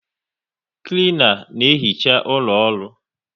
Klena na ehicha ụlọ ọrụ